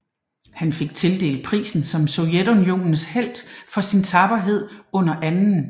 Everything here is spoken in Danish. Han fik tildelt prisen som Sovjetunionens Helt for sin tapperhed under 2